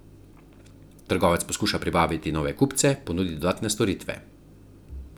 Trgovec poskuša privabiti nove kupce, ponudi dodatne storitve.